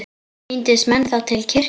Tíndust menn þá til kirkju.